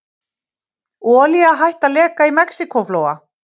Olía hætt að leka í Mexíkóflóa